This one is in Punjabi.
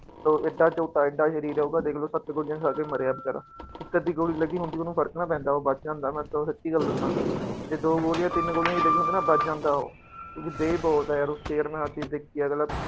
ਤੋ ਏਡਾ ਝੋਟਾ ਏਡਾ ਸਰੀਰ ਹੋਊਗਾ ਦੇਖ ਲਓ ਸੱਤ ਗੋਲੀਆਂ ਖਾ ਕੇ ਮਰਿਆ ਬੇਚਾਰਾ, ਇੱਕ ਅੱਧੀ ਗੋਲੀ ਲੱਗੀ ਹੁੰਦੀ ਉਹਨੂੰ ਫ਼ਰਕ ਨਾ ਪੈਂਦਾ ਉਹ ਬਚ ਜਾਂਦਾ ਮੈਂ ਤੁਹਾਨੂੰ ਸੱਚੀ ਗੱਲ ਦੱਸਾਂ, ਜੇ ਦੋ ਗੋਲੀਆਂ ਤਿੰਨ ਗੋਲੀਆਂ ਵੀ ਲੱਗੀਆਂ ਹੁੰਦੀਆਂ ਨਾ ਬਚ ਜਾਂਦਾ ਉਹ ਕਿਉਂਕਿ ਦੇਹ ਬਹੁਤ ਹੈ ਯਾਰ ਉਸ ਚ ਯਾਰ ਮੈਂ ਆਹ ਚੀਜ਼ ਦੇਖੀ ਹੈ ਅਗਲਾ